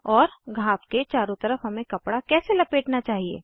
और घाव के चारों तरफ हमें कपडा कैसे लपेटना चाहिए160